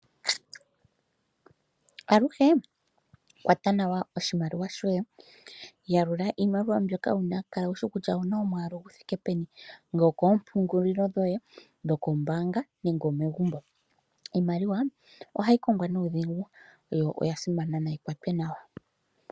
Aluhe kwata nawa oshimaliwa shoye, yalula iimaliwa mbyoka wuna, kala wushi kutya owuna omwaalu guthike peni, ongele okoompungulilo dhoye dhokombaanga, nenge megumbo. Iimaliwa ohayi kongwa nuudhigu, onkene nayikwatwe nawa, oshoka oya simana.